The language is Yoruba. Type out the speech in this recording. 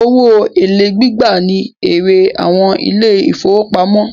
Owó èlé gbígbà ní èrè àwọn ilé ìfọwọ́pamo.